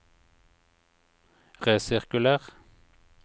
resirkuler